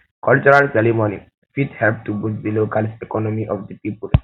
cultural ceremonies um fit um help to boost di local um economy of di pipo